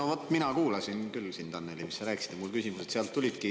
No vaat, mina kuulasin sind küll, Annely, kui sa rääkisid, ja mu küsimused sealt tulevadki.